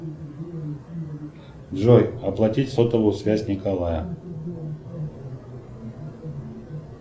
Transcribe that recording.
джой оплатить сотовую связь николая